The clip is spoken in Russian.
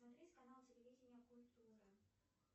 смотреть канал телевидения культура